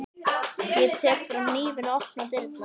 Ég tek fram hnífinn og opna dyrnar.